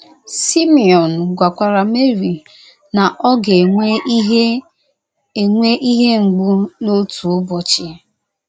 Simiọn gwakwara Meri na ọ ga - enwe ihe enwe ihe mgbu n'otu ubọchị.